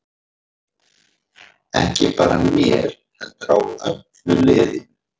Ekki bara mér heldur á öllu liðinu.